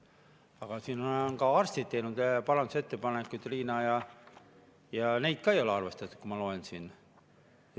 Aga siin on ka arstid teinud parandusettepanekuid ja ka neid ei ole arvestatud, nagu ma siit loen.